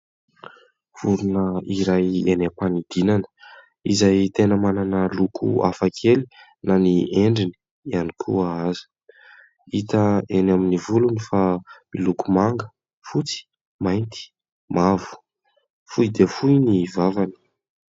Vorona iray eny ampanidinana izay tena manana loko hafakely na ny endriny ihany koa aza. Hita eny amin'ny volony fa miloko manga, fotsy, mainty, mavo. fohy dia fohy ny vavany.